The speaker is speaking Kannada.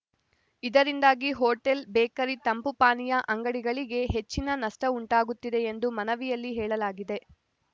ಇದರಿಂದಾಗಿ ಹೋಟೆಲ್‌ ಬೇಕರಿ ತಂಪು ಪಾನೀಯ ಅಂಗಡಿಗಳಿಗೆ ಹೆಚ್ಚಿನ ನಷ್ಟಉಂಟಾಗುತ್ತಿದೆ ಎಂದು ಮನವಿಯಲ್ಲಿ ಹೇಳಲಾಗಿದೆ